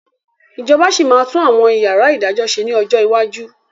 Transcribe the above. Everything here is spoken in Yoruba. Ìjọba sì máa tún àwọn yàrá ìdájọ́ ṣe ni ọjọ́ iwájú